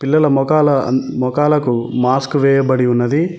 పిల్లల మొఖల మొఖాలకు మాస్క్ వేయబడి ఉన్నది.